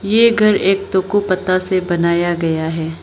ये घर एक तोकु पत्ता से बनाया गया है।